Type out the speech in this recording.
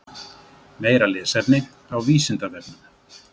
Meira lesefni á Vísindavefnum: